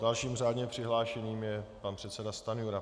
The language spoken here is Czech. Dalším řádně přihlášeným je pan předseda Stanjura.